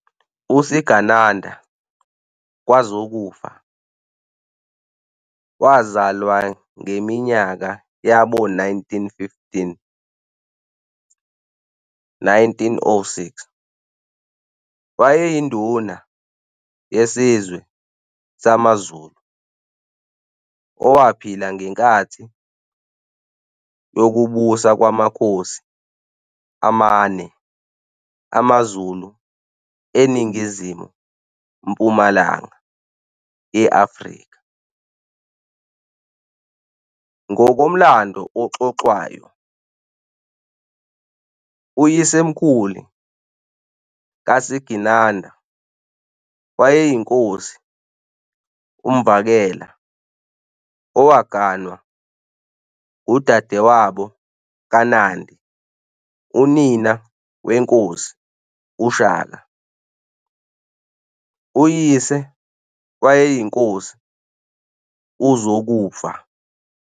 USigananda kaZokufa, wazalwangeminyaka yabo-1915, 1906, wayeyinduna yesizwe samaZulu owaphila ngenkathi yokubusa kwamakhosi amane amaZulu eningizimu-mpumalanga ye-Afrika. Ngokomlando oxoxwayo, uyisemkhulu kaSigananda wayeyinkosi uMvakela owaganwa udadewabo kaNandi unina weNkosi uShaka, uyise wayeyinkosi uZokufa.